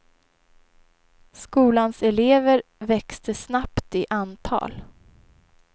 Skolans elever växte snabbt i antal.